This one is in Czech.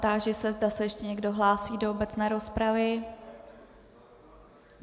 Táži se, zda se ještě někdo hlásí do obecné rozpravy.